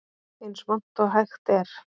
Eins vont og hægt er